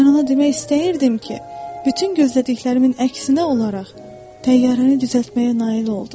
Mən ona demək istəyirdim ki, bütün gözlədiklərimin əksinə olaraq təyyarəni düzəltməyə nail oldum.